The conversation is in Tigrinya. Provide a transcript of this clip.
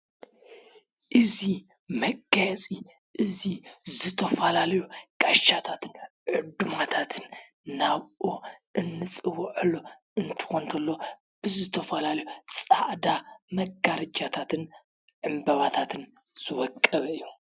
እዙይ መገየፂ እዙይ ዝተፋላለዩ ጋሻታትን ዕዱማታትን ናብኦ እንጽውዐሎ እንትኮን እንተሎ ብዝተፋላለዩ ጻዕዳ መጋርጃታትን ዕምበባታትን ዝወቀበ እዩ።